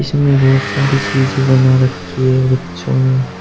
इसमें बहोत सारी चीज़ें बना रखी है बच्चों ने।